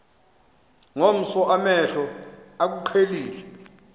ngomso amehlo akuqhelile